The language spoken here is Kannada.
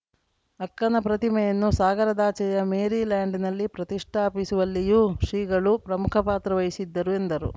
ಅಕ್ಕನ ಪ್ರತಿಮೆಯನ್ನು ಸಾಗರದಾಚೆಯ ಮೇರಿ ಲ್ಯಾಂಡ್‌ನಲ್ಲಿ ಪ್ರತಿಷ್ಠಾಪಿಸುವಲ್ಲಿಯೂ ಶ್ರೀಗಳು ಪ್ರಮುಖ ಪಾತ್ರ ವಹಿಸಿದ್ದರು ಎಂದರು